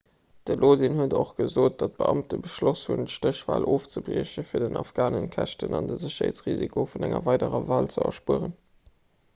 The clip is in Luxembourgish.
de lodin huet och gesot datt d'beamte beschloss hunn d'stéchwal ofzebriechen fir den afghanen d'käschten an de sécherheetsrisiko vun enger weiderer wal ze erspueren